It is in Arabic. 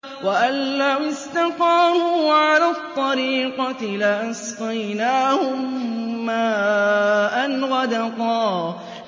وَأَن لَّوِ اسْتَقَامُوا عَلَى الطَّرِيقَةِ لَأَسْقَيْنَاهُم مَّاءً غَدَقًا